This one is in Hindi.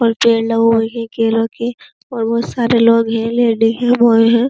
और पेड़ लगा हुआ हैं केला के और बोहोत सारे लोग हैं लेडी हैं बॉय हैं।